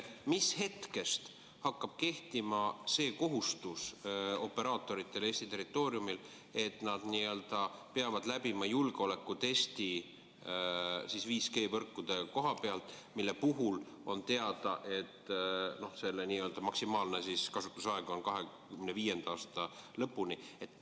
Mis hetkest hakkab kehtima see kohustus operaatoritel Eesti territooriumil, et nad peavad läbima julgeolekutesti 5G võrkude koha pealt, mille puhul on teada, et maksimaalne kasutusaeg on 2025. aasta lõpuni?